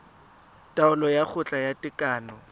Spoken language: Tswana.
taolo ya kgotla ya tekano